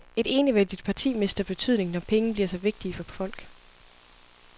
Et enevældigt parti mister betydning, når penge bliver så vigtige for folk.